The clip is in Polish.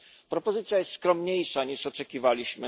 Propozycja jest skromniejsza, niż oczekiwaliśmy.